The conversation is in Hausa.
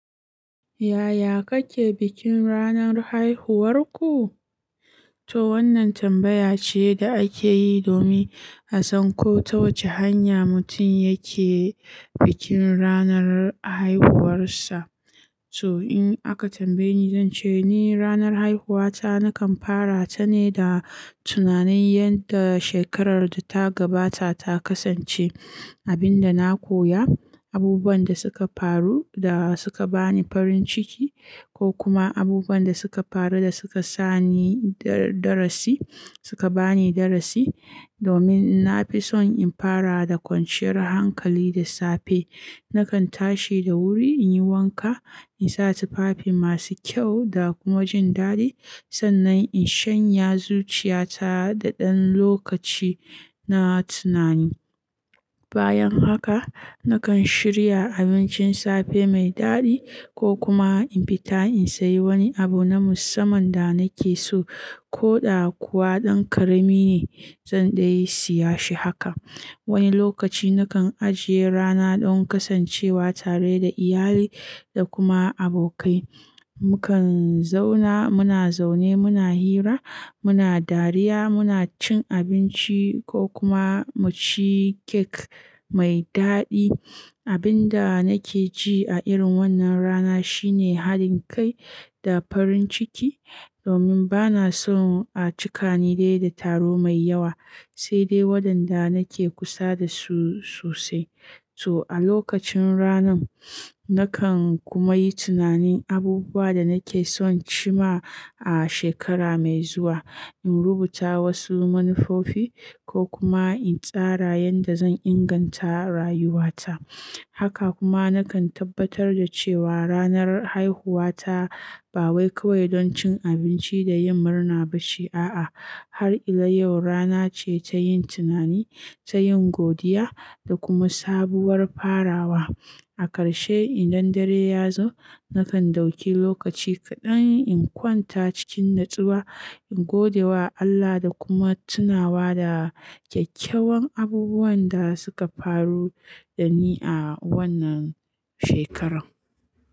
Yaya kake bikin ranar haihuwarku? To wannan tambaya ce da ake yi domin a san ko ta wace hanya mutum yake bikin ranar haihuwarsa. To in aka tambaye ni, zan ce ni ranar haihuwata nakan fara ta ne da tunanin yadda shekarar da ta gabata ta kasance, abin da na koya, abubuwan da suka faru da suka bani farin ciki ko kuma abubuwan da suka faru da suka sa ni darasi, suka bani darasi. Domin na fi son in fara da kwanciyar hankali da safe. Nakan tashi da wuri in yi wanka, in sa tufafi masu kyau da kuma jin daɗi sannan in shanya zuciyata da ɗan lokaci na tunani. Bayan haka, nakan shirya abincin safe mai daɗi ko kuma in fita in sayi wani abu na musamman da nake so ko ɗa kuwa ɗan ƙarami ne zan dai siya shi haka. Wani lokaci nakan ajiye rana don kasancewa tare da iyali da kuma abokai. Mukan zauna muna zaune muna hira, muna dariya, muna cin abinci ko kuma mu ci kek mai daɗi. Abin da nake ji a irin wannan rana shine haɗin kai da farin ciki domin bana son a cika ni dai da taro mai yawa, sai dai waɗanda nake kusa da su sosai. To a lokacin ranar, nakan kuma yi tunanin abubuwan da nake son ci ma a shekara mai zuwa, in rubuta wasu manufofi ko kuma in tsara yadda zan inganta rayuwata. Haka kuma nakan tabbatar da cewa ranar haihuwata ba wai kawai don cin abinci da yin murna ba shi, a'a har illa yau rana ce ta yin tunani, ta yin godiya da kuma sabuwar farawa. A karshe in dan dare ya zo, nakan dauki lokaci kaɗan in kwanta cikin natsuwa, in gode wa Allah da kuma tunawa da kyawun abubuwan da suka faru da ni a wannan shekarar.